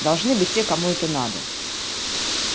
должны быть те кому это надо